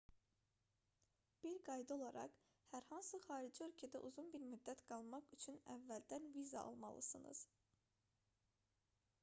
bir qayda olaraq hər hansı xarici ölkədə uzun bir müddət qalmaq üçün əvvəldən viza almalısınız